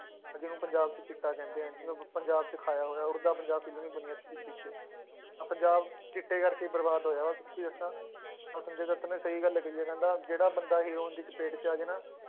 ਅਹ ਜਿਹਨੂੰ ਪੰਜਾਬ 'ਚ ਚਿੱਟਾ ਕਹਿੰਦੇ ਆ, ਜਿਹਨੂੰ ਆਪਾਂ ਪੰਜਾਬ 'ਚ ਖਾਇਆ ਹੋਇਆ ਉੱਡਦਾ ਪੰਜਾਬ film ਵੀ ਬਣੀ ਹੈ ਇਸ ਚੀਜ਼ ਪਿੱਛੇ ਤਾਂ ਪੰਜਾਬ ਚਿੱਟੇ ਕਰਕੇ ਹੀ ਬਰਬਾਦ ਹੋਇਆ ਵਾ ਸੱਚੀ ਦੱਸਾਂ ਤਾਂ ਸੰਜੇ ਦੱਤ ਨੇ ਸਹੀ ਗੱਲ ਕਹੀ ਆ ਕਹਿੰਦਾ ਜਿਹੜਾ ਬੰਦਾ ਹੀਰੋਇਨ ਦੀ ਚਪੇਟ 'ਚ ਆ ਜਾਏ ਨਾ,